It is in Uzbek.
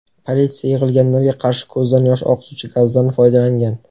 Politsiya yig‘ilganlarga qarshi ko‘zdan yosh oqizuvchi gazdan foydalangan.